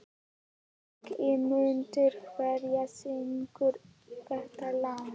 Ingimunda, hver syngur þetta lag?